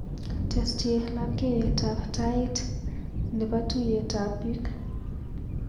Tesyi lapkeiyetab tait nrbo yuiyet ab piik.